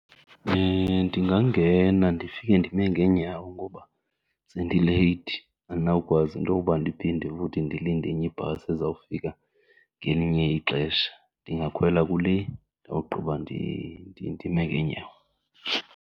Ndingangena ndifike ndime ngeenyawo ngoba sendileyithi, andinawukwazi intoba ndiphinde futhi ndilinde enye ibhasi ezawufika ngelinye ixesha. Ndingakhwela kule ndawugqiba ndime ngeenyawo.